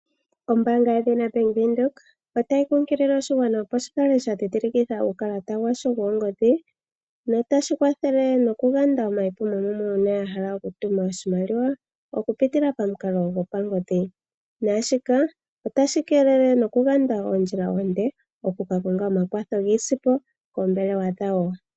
Ombaanga yedhina Bank Windhoek otayi kunkilile oshigwana, opo shi kale sha dhindhilikitha uukalata washo woongodhi notashi kwathele nokuyanda omayipumomumwe uuna ya hala okutuma oshimaliwa okupitila pamukalo gopangodhi. Naashika otashi keelele nokuganda oondjila oonde oku ka konga omakwatho giisimpo koombelewa dhawo.